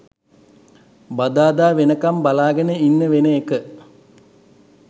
බදාදා වෙනකම් බලාගෙන ඉන්න වෙන එක